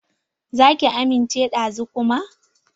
Za ki amince da zu kuma?